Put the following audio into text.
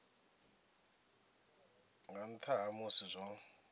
nga nnḓa ha musi zwo